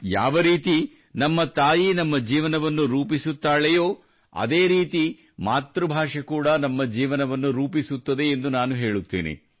ಯಾವ ರೀತಿ ನಮ್ಮ ತಾಯಿ ನಮ್ಮ ಜೀವನವನ್ನು ರೂಪಿಸುತ್ತಾಳೆಯೋ ಅದೇ ರೀತಿ ಮಾತೃಭಾಷೆ ಕೂಡಾ ನಮ್ಮ ಜೀವನವನ್ನು ರೂಪಿಸುತ್ತದೆ ಎಂದು ನಾನು ಹೇಳುತ್ತೇನೆ